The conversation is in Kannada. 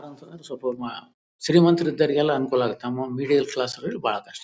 ಶ್ರೀಮಂತ ಇದ್ದವರಿಗೆಲ್ಲಾ ಅನುಕೂಲ ಆಗುತ್ತೆ ತಮ್ಮ ಬಿ_ಡಿ_ಎ ಕ್ಲಾಸ್ಸಗಳು .]